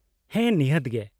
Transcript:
-ᱦᱮᱸ, ᱱᱤᱦᱟᱹᱛ ᱜᱮ ᱾